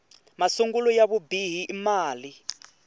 masungulo ya vubihi i mali